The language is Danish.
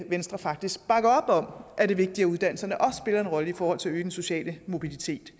venstre faktisk bakker op om at det er vigtigt at uddannelserne også spiller en rolle i forhold til at øge den sociale mobilitet